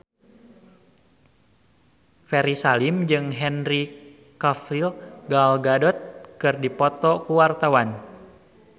Ferry Salim jeung Henry Cavill Gal Gadot keur dipoto ku wartawan